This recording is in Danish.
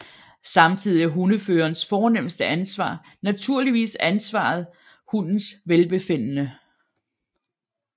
Samtidig er hundeførerens fornemste ansvar naturligvis ansvaret hundens velbefindende